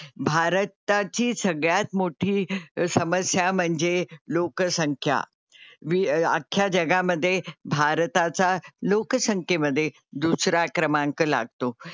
भारताची सगळ्यात मोठी समस्या म्हणजे लोकसंख्या. अख्ख्या जगामध्ये भारताचा लोकसंख्येमध्ये दुसरा क्रमांक लागतो.